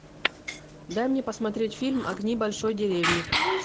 дай мне посмотреть фильм огни большой деревни